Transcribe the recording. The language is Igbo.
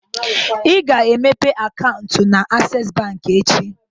Ị ga-aga meepe akaụntụ na Asess bank echi